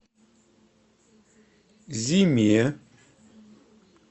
зиме